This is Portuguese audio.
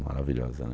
Maravilhosa, né?